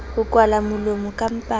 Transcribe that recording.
mo kwala molomo ka mpama